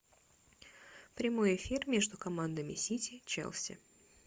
прямой эфир между командами сити челси